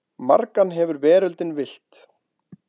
Margan hefur veröldin villt.